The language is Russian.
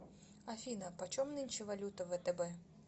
афина почем нынче валюта в втб